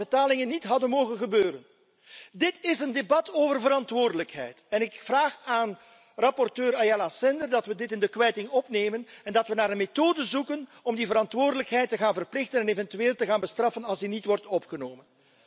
betalingen niet hadden mogen gebeuren. Dit is een debat over verantwoordelijkheid en ik vraag aan rapporteur Ayala Sender dat we dit in de kwijting opnemen en dat we naar een methode zoeken om die verantwoordelijkheid te gaan verplichten en eventueel te gaan bestraffen als hij niet wordt genomen.